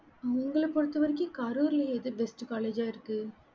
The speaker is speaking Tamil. உங்கள பொறுத்த வரைக்கும் கரூர்ல எது best college இருக்கு